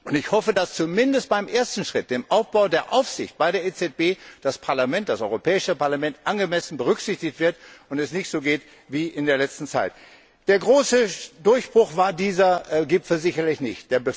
Und ich hoffe, dass zumindest beim ersten Schritt, dem Aufbau der Aufsicht bei der EZB, das Europäische Parlament angemessen berücksichtigt wird und es nicht so geht wie in der letzten Zeit. Der große Durchbruch war dieser Gipfel sicherlich nicht.